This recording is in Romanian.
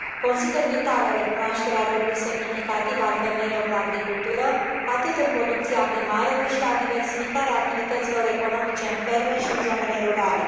Consider vitală recunoașterea rolului semnificativ al femeilor în agricultură, atât în producția primară, cât și la diversificarea activităților economice în ferme și în zonele rurale.